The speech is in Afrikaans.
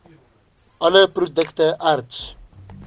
all produkte erts